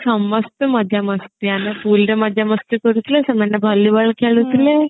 ସମସ୍ତେ ମଜା ମସ୍ତି ଆମେ pool ରେ ମଜା ମସ୍ତି କରୁଥିଲେ ସେମାନେ volleyball ଖେଳୁଥିଲେ